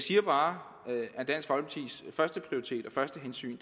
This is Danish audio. siger bare at første prioritet og første hensyn